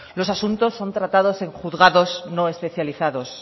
los asuntos son tratados en juzgados no especializados